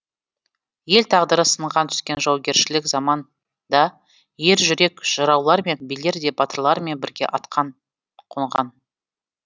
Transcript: ел тағдыры сынған түскен жаугершілік заманда ержүрек жыраулар мен билер де батырлармен бірге атқа қонған